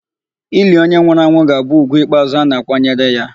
Ili onye nwụrụ anwụ ga-abụ ugwu ikpeazụ a na-akwanyere ya.